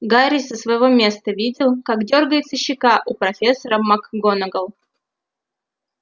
гарри со своего места видел как дёргается щека у профессора макгонагалл